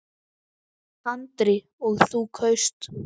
Andri: Og þú kaust?